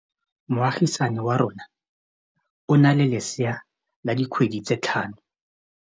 Moagisane wa rona o na le lesea la dikgwedi tse tlhano.